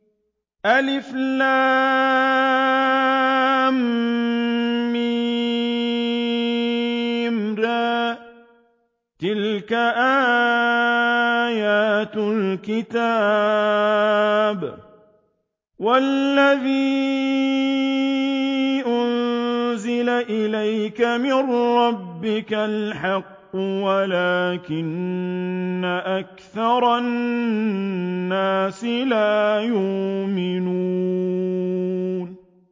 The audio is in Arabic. المر ۚ تِلْكَ آيَاتُ الْكِتَابِ ۗ وَالَّذِي أُنزِلَ إِلَيْكَ مِن رَّبِّكَ الْحَقُّ وَلَٰكِنَّ أَكْثَرَ النَّاسِ لَا يُؤْمِنُونَ